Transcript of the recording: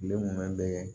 Den munnu bɛɛ